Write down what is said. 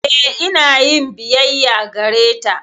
Eh, ina yin biyayya gareta.